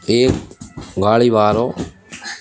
एक गाड़ी बारो --